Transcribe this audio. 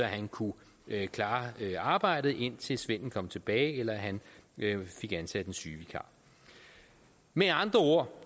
han kunne klare arbejdet indtil svenden kom tilbage eller han fik ansat en sygevikar med andre ord